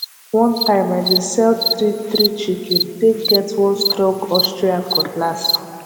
one time i been sell three three chicken take get one strong austrian cutlass